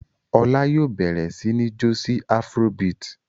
Ọlá yóò bẹ̀rẹ̀ sí ní jó sí afrobeat.